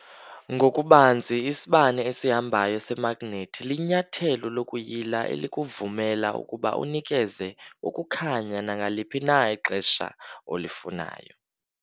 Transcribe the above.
Ngokubanzi, isibane esihambayo semagnethi linyathelo lokuyila elikuvumela ukuba unikeze ukukhanya nangaliphi na ixesha olifunayo.